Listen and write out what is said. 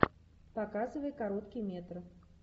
показывай короткие метры